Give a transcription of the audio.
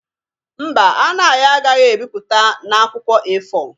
Mba, Anayo agaghị ebipụta na akwụkwọ A4